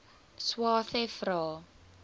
swathe vra